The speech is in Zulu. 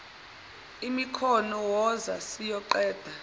imikhono woza siyoqeda